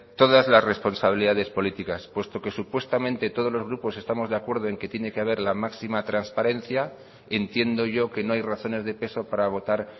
todas las responsabilidades políticas puesto que supuestamente todos los grupos estamos de acuerdo en que tiene que haber la máxima transparencia entiendo yo que no hay razones de peso para votar